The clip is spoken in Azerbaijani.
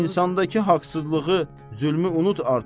İnsandakı haqsızlığı, zülmü unut artıq.